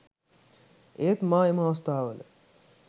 ඒත් මා එම අවස්ථාවල